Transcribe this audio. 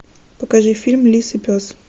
покажи фильм лис и пес